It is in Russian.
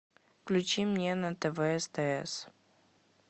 включи мне на тв стс